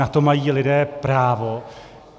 Na to mají lidé právo.